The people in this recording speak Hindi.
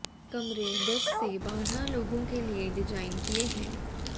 कमरे दस से बारह लोगों के लिए डिजाइन किए हैं